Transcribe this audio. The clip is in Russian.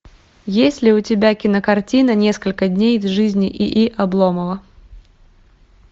есть ли у тебя кинокартина несколько дней из жизни и и обломова